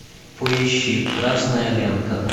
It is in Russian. поищи красная лента